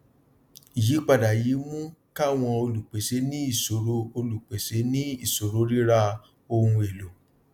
ìyípadà yìí mú káwọn olùpèsè ní ìṣòro olùpèsè ní ìṣòro ríra ohun èlò